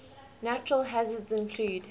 natural hazards include